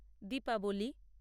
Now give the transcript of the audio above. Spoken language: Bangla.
দীপাবলি